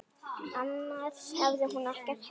Annars hafði hún ekkert heyrt.